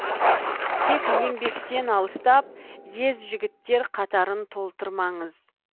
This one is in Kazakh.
тек еңбектен алыстап ез жігіттер қатарын толтырмаңыз